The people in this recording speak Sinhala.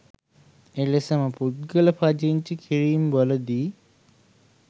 එලෙසම පුද්ගල පදිංචි කිරීම්වලදී